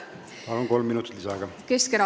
Palun, kolm minutit lisaaega!